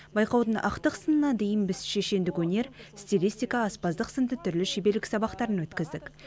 байқаудың ақтық сынына дейін біз шешендік өнер стилистика аспаздық сынды түрлі шеберлік сабақтарын өткіздік